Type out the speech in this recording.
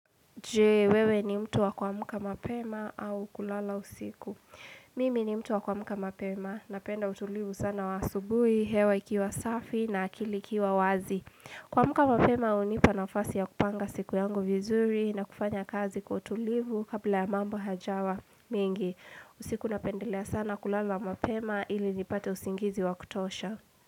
Jee, wewe ni mtu wa kuamka mapema au kulala usiku. Mimi ni mtu wa kwa muka mapema. Napenda utulivu sana wa asubuhi, hewa ikiwa safi na akili ikiwa wazi. Kuamka mapema, hunipa nafasi ya kupanga siku yangu vizuri na kufanya kazi kwa utulivu kabla ya mambo hajawa mingi. Usiku napendelea sana kulala mapema ili nipate usingizi wa kutosha.